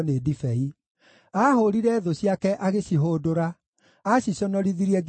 Aahũũrire thũ ciake agĩcihũndũra; aaciconorithirie nginya tene.